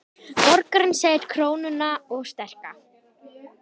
Borgarinn segir krónuna of sterka